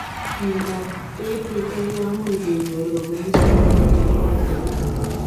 Miondoop PPK komuuch kenyor kobunuu sigik anan ko atepeet.